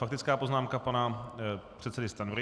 Faktická poznámka pana předsedy Stanjury.